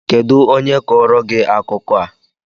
Kedụ onye kọọrọ gị akụkọ a?